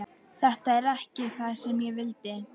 Þetta er ekki það sem ég vildi.